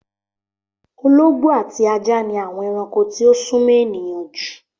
Ológbó ati ájá ni awõn erankó tí o súmõ èniyàn ju.